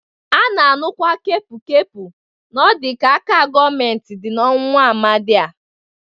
A na-anụkwa kepụkepu n'ọdị k'aka gọọmenti dị n'ọnwụ nwa amadị a.